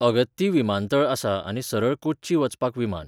अगत्ती विमानतळ आसा आनी सरळ कोच्ची वचपाक विमान.